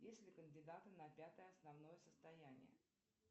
есть ли кандидаты на пятое основное состояние